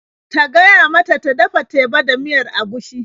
Ta gaya mata ta dafa teba da miyar agushi.